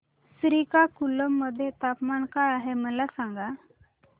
श्रीकाकुलम मध्ये तापमान काय आहे मला सांगा